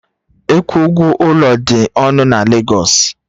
Ịkwụ ụgwọ ụlọ dị ọnụ na Legosu